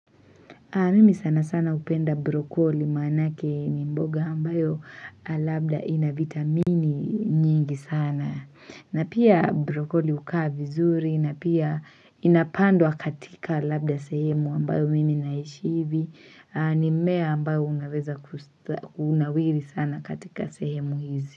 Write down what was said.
Mimi sana sana upenda brokoli maanake ni mboga ambayo labda ina vitamini nyingi sana. Na pia brokoli hukaa vizuri, na pia inapandwa katika labda sehemu ambayo mimi naishi hivi. Ni mmea ambao unaweza kunawiri sana katika sehemu hizi.